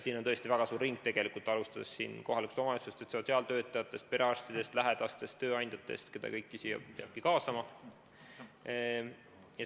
Siin on tõesti väga suur ring, keda peab kaasama, alustades kohalikust omavalitsusest, sotsiaaltöötajatest, perearstidest, lähedastest, tööandjatest.